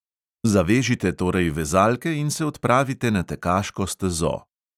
Zavežite torej vezalke in se odpravite na tekaško stezo.